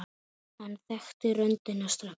Hann þekkti röddina strax.